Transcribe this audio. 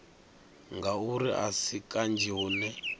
ngauri a si kanzhi hune